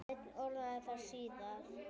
Svenni orðaði það síðar.